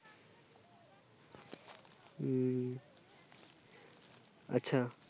ও আচ্ছা